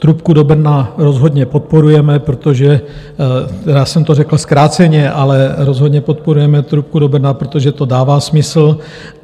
Trubku do Brna rozhodně podporujeme, protože já jsem to řekl zkráceně, ale rozhodně podporujeme trubku do Brna, protože to dává smysl.